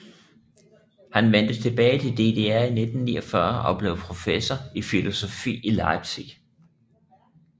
Han vendte tilbage til DDR i 1949 og blev professor i filosofi i Leipzig